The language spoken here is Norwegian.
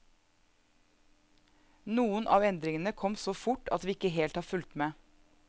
Noen av endringene kom så fort at vi ikke helt har fulgt med.